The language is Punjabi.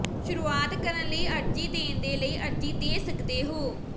ਸ਼ੁਰੂਆਤ ਕਰਨ ਲਈ ਅਰਜ਼ੀ ਦੇਣ ਦੇ ਲਈ ਅਰਜ਼ੀ ਦੇ ਸਕਦੇ ਹੋ